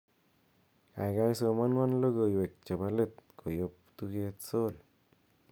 gaigai somonwon logoiwek chebo leet koyop tuget sol